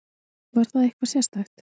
Var það eitthvað sérstakt?